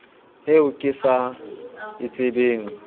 eo ke sa e tsebeng